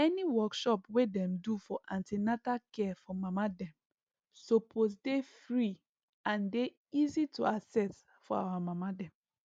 any workshop wey dem do for an ten atal care for mama dem suppose dey free and dey easy to access for our mama dem